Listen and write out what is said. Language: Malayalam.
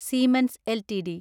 siemens LTD